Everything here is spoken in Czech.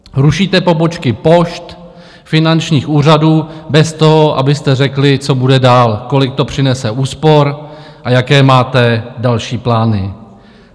Rušíte pobočky pošt, finančních úřadů bez toho, abyste řekli, co bude dál, kolik to přinese úspor a jaké máte další plány.